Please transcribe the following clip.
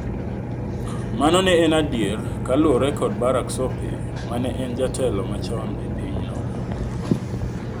Mano ne en adier ka luore kod Barak Sope, ma ne en jatelo machon e pinyno.